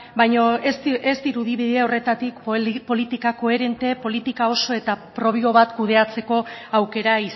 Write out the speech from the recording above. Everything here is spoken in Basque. baina ez dirudi bide horretatik politika koherente politika oso eta propio bat kudeatzeko aukera